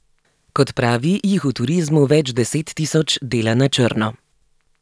Kot pravi, jih v turizmu več deset tisoč dela na črno.